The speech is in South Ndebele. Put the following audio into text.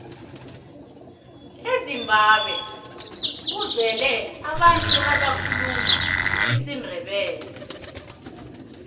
ezimbabwe kuzele abantu abakhuluma isindebele